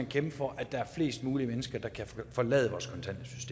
kæmpe for at der er flest mulige mennesker der kan forlade vores